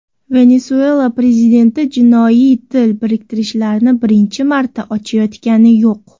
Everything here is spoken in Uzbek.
Venesuela prezidenti jinoiy til biriktirishlarni birinchi marta ochayotgani yo‘q.